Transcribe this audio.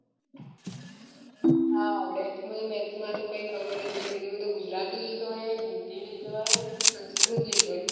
હા આવડે મને maths માં તો કઈ ખબર જ નથી પડતી મેં તો ગુજરાતી લીધો હે હિન્દી લીધો હે અને સંસ્કૃત લીધો હે